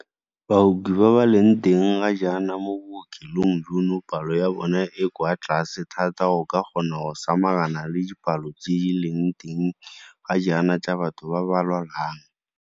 Baoki ba ba leng teng ga jaana mo bookelong jono palo ya bona e kwa tlase thata go ka kgona go samagana le dipalo tse di leng teng ga jaana tsa batho ba ba lwalang.